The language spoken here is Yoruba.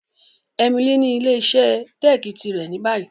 Emily ni ile-iṣẹ teeki tirẹ ni bayi.